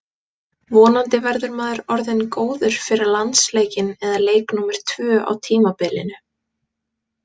Vonandi verður maður orðinn góður fyrir landsleikinn eða leik númer tvö á tímabilinu.